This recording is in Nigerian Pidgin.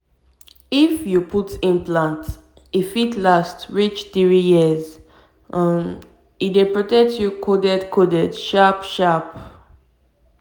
if you put implant e fit last reach three years um e dey protect you coded coded sharp sharp!